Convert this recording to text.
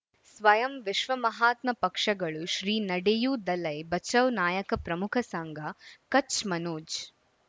ಸ್ವಯಂ ವಿಶ್ವ ಮಹಾತ್ಮ ಪಕ್ಷಗಳು ಶ್ರೀ ನಡೆಯೂ ದಲೈ ಬಚೌ ನಾಯಕ ಪ್ರಮುಖ ಸಂಘ ಕಚ್ ಮನೋಜ್